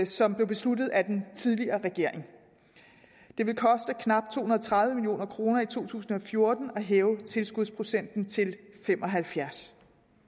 som blev besluttet af den tidligere regering det vil koste knap to og tredive million kroner i to tusind og fjorten at hæve tilskudsprocenten til fem og halvfjerds